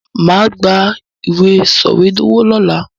Màá gba ìwé sọwedowo lọ́la.